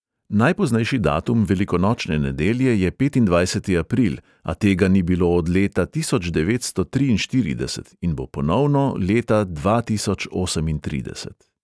Najpoznejši datum velikonočne nedelje je petindvajseti april, a tega ni bilo od leta tisoč devetsto triinštirideset in bo ponovno leta dva tisoč osemintrideset.